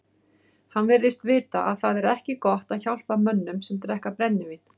Hann virtist vita að það er ekki gott að hjálpa mönnum sem drekka brennivín.